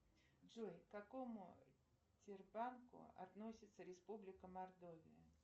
джой к какому тербанку относится республика мордовия